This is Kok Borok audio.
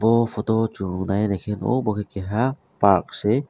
o photo o sang nai naike bo bo ke keha parks se.